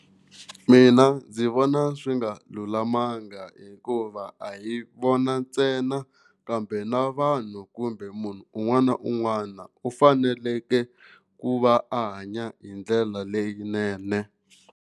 Mina ndzi vona swi nga lulamanga hikuva a hi vona ntsena kambe na vanhu kumbe munhu un'wana na un'wana u faneleke ku va a hanya hi ndlela leyinene.